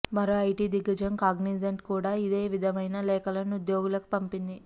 మరో ఐటీ దిగ్గజం కాగ్నిజెంట్ కూడా ఇదే విధమైన లేఖలను ఉద్యోగులకు పంపింది